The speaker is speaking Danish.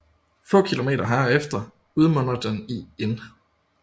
Få kilometer herefter udmunder den i Inn